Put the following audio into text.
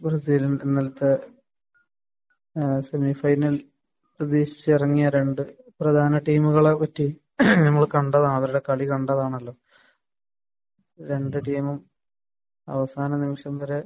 ബ്രസീലുമായിട്ട് ഇന്നലത്തെ സെമിഫൈനൽ പ്രതീക്ഷിച്ചിറങ്ങിയ രണ്ട് പ്രധാന ടീമുകളെ പറ്റി നമ്മൾ കണ്ടതാണ് അവരുടെ കളി കണ്ടതാണല്ലോ. രണ്ട് ടീമും അവസാന നിമിഷം വരെ